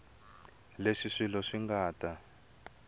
leswi swilo swi nga ta